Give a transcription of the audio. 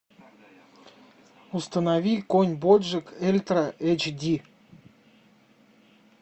установи конь боджек ультра эйч ди